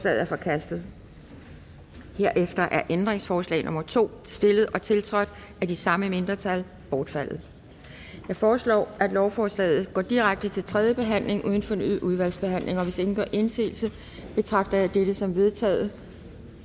er forkastet herefter er ændringsforslag nummer to stillet og tiltrådt af de samme mindretal bortfaldet jeg foreslår at lovforslaget går direkte til tredje behandling uden fornyet udvalgsbehandling hvis ingen gør indsigelse betragter jeg dette som vedtaget